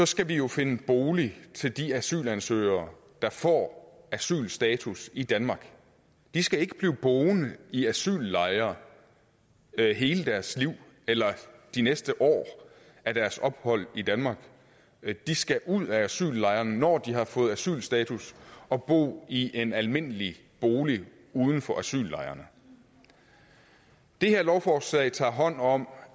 skal vi jo finde bolig til de asylansøgere der får asylstatus i danmark de skal ikke blive boende i asyllejre hele deres liv eller de næste år af deres ophold i danmark de skal ud af asyllejrene når de har fået asylstatus og bo i en almindelig bolig uden for asyllejrene det her lovforslag tager hånd om